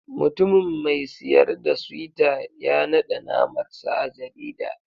Mutumin mai siyar da suyta ya naɗe namar sa a jarida.